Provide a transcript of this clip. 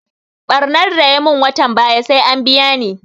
Ɓarnan da ya mun watan baya sai an biya ni